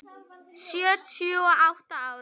Sjötíu og átta ára.